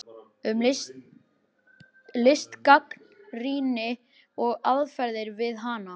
Um listgagnrýni og aðferðir við hana